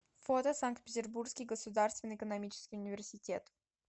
фото санкт петербургский государственный экономический университет